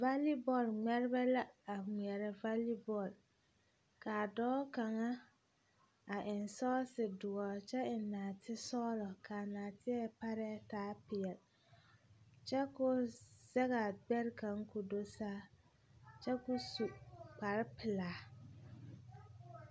Vali bɔl ŋmɛrebɛ la a ŋmeɛrɛ vali bɔl. kaa dɔɔ kaŋa, a eŋ sɔɔse doɔr kyɛ eŋ naatesɔglɔ kaa naateɛ parɛɛ taa peɛl, kyɛ ko zɛgaa gbɛre kaŋ ko do saa kyɛ ko su kparepelaa.